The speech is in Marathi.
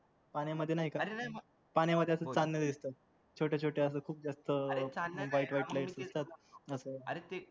पाण्यामध्ये नायका पाण्यामध्ये असं चांदणं दिसत छोट्या छोट्या अश्या खूप जास्त येतात तस